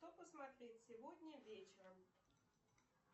что посмотреть сегодня вечером